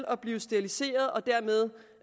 at blive steriliseret og dermed